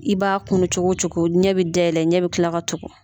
I b'a kunnu cogocogo ɲɛ bi dayɛlɛ ɲɛ bi kila ka tugu.